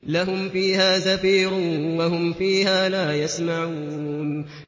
لَهُمْ فِيهَا زَفِيرٌ وَهُمْ فِيهَا لَا يَسْمَعُونَ